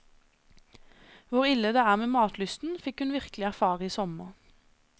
Hvor ille det er med matlysten, fikk hun virkelig erfare i sommer.